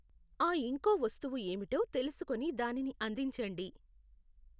ఆ ఇంకో వస్తువు ఏమిటో తెలుసుకుని దానిని అందించండి.